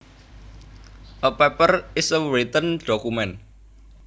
A paper is a written document